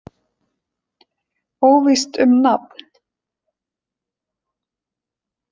Óvíst um nafn.